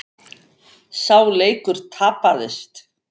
Sá leikur tapaðist.